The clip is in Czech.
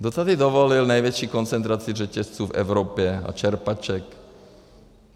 Kdo tady dovolil největší koncentraci řetězců v Evropě a čerpaček?